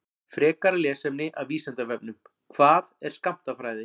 Frekara lesefni af Vísindavefnum: Hvað er skammtafræði?